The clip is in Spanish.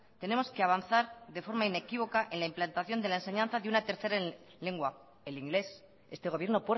tenemos que avanzar de forma inequívoca en la implantación de la enseñanza de una tercera lengua el inglés este gobierno